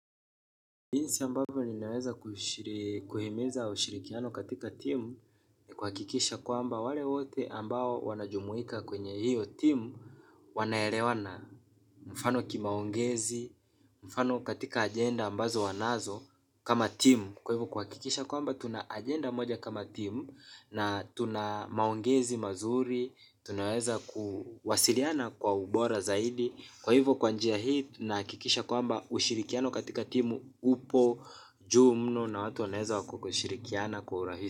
Jinsi ambavyo ninaweza kuhimiza ushirikiano katika timu ni kuhakikisha kwamba wale wote ambao wanajumuika kwenye hiyo timu wanaelewana mfano kimaongezi mfano katika ageda ambazo wanazo. Kama timu kwa hivyo kuhakikisha kwaba tuna ageda moja kama timu na tunamaongezi mazuri tunaweza kuwasiliana kwa ubora zaidi kwa hivyo kwa njia hii tunahakikisha kwamba ushirikiano katika timu upo. Juu mno na watu wanaweza kushirikia kwa urahisi.